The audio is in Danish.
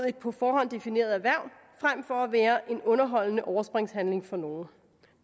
et på forhånd defineret erhverv frem for at være en underholdende overspringshandling for nogle